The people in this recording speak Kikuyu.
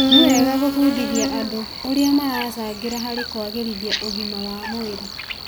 Nĩ wega gũbundithia andũ ũrĩa maracangĩra harĩ kwagĩrithia ũgima wa mwĩrĩ